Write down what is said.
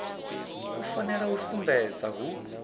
u fanela u sumbedza hu